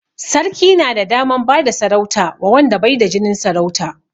Sarki na da daman bada sarauta wa wanda bai da jinin sarauta